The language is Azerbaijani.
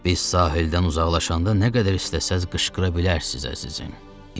Biz sahildən uzaqlaşanda nə qədər istəsəz qışqıra bilərsiz, əzizim.